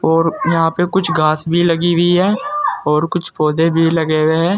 और यहां पे कुछ घास भी लगी हुई है और कुछ पौधे भी लगे हुए हैं।